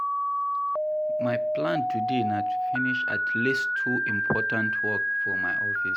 My plan today na to finish at least two important work for my office.